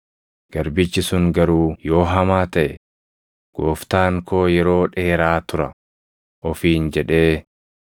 Garbichi sun garuu yoo hamaa taʼe, ‘Gooftaan koo yeroo dheeraa tura’ ofiin jedhee